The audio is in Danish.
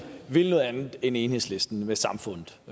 vil noget andet end enhedslisten med samfundet